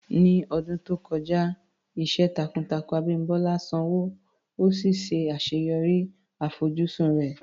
Ní ọdún tó kọjá, iṣẹ́ takuntakun Abimbola sanwó, ó sì ṣe àṣeyọrí àfojúsùn rẹ̀.